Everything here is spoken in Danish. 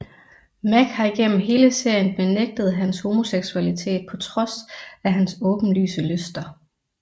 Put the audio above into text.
Mac har igennem hele serien benægtet hans homoseksualitet på trods af hans åbenlyse lyster